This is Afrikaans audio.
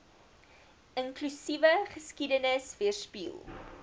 inklusiewe geskiedenis weerspieël